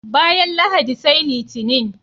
Bayan Lahadi sai Litinin.